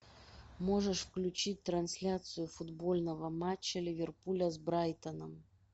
можешь включить трансляцию футбольного матча ливерпуля с брайтоном